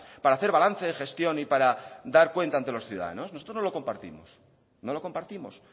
para hacer balance de gestión y para dar cuenta entre los ciudadanos nosotros no lo compartimos no lo compartimos